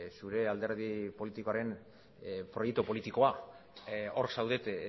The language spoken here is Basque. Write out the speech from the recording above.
zure alderdi politikoaren proiektu politikoa hor zaudete